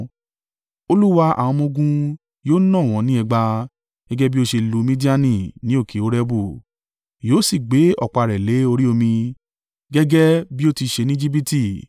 Olúwa àwọn ọmọ-ogun yóò nà wọ́n ní ẹgba. Gẹ́gẹ́ bí ó ṣe lu Midiani ní òkè Orebu, yóò sì gbé ọ̀pá rẹ̀ lé orí omi gẹ́gẹ́ bí ó ti ṣe ní Ejibiti.